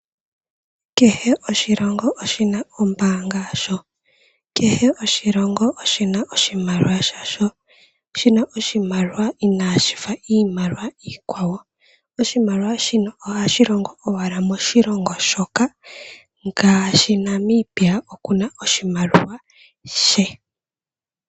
Kehe oshilongo oshina ombaanga yasho. Kehe oshilongo oshina oshimaliwa shasho, shina oshimaliwa inaashi fa iimaliwa iikwawo. Oshimaliwa shino ohashi longo owala moshilongo shoka ngaashi Namibia okuna oshimaliwa she.